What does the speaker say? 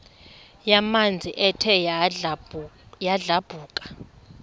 yamanzi ethe yadlabhuka